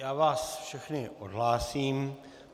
Já vás všechny odhlásím.